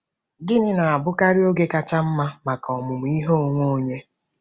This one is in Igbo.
Gịnị na-abụkarị oge kacha mma maka ọmụmụ ihe onwe onye?